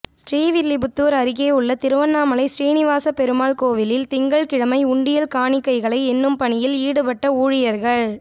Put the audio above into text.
ஸ்ரீவில்லிபுத்தூா் அருகேயுள்ள திருவண்ணாமலை சீனிவாசப் பெருமாள் கோயிலில் திங்கள்கிழமை உண்டியல் காணிக்கைகளை எண்ணும் பணியில் ஈடுபட்ட ஊழியா்கள்